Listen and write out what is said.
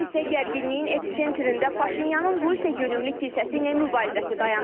Hələlik isə gərginliyin episentrində Paşinyanın Rusiya yönümlü kilsəsi ilə mübarizəsi dayanır.